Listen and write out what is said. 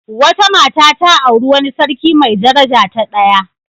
Wata mata ta auri wani sarki mai daraja ta daya.